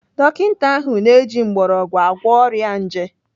Dọkita ahụ na-eji mgbọrọgwụ agwọ ọrịa nje.